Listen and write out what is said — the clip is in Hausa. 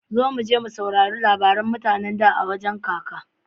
Zo muje mu saurari labaran mutane da a wajan kaka.